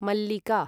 मल्लिका